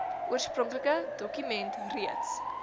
oorspronklike dokument reeds